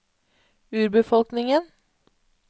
urbefolkningen